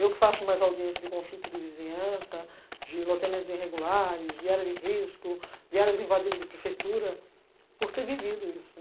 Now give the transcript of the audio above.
Eu que faço mais audiência de conflito de vizinhança, de loteamentos irregulares, de área de risco, de áreas invadidas de prefeitura, por ter vivido isso.